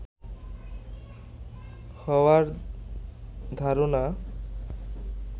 হওয়ার ধারণা